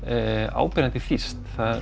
áberandi þýskt